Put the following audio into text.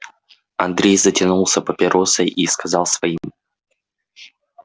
андрей затянулся папиросой и сказал своим